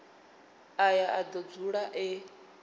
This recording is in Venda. aya a do dzula e